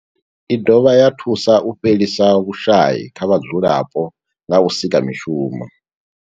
I dovha ya thusa u fhelisa vhushayi kha vhadzulapo nga u sika mishumo.